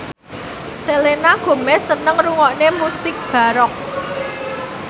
Selena Gomez seneng ngrungokne musik baroque